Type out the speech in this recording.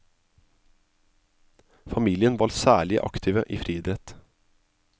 Familien var særlige aktive i friidrett.